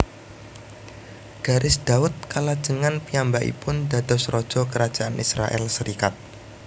Garis Daud kalajengan piyambakipun dados raja Kerajaan Israèl serikat